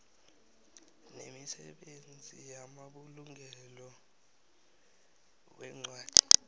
nemisebenzi yamabulungelo weencwadi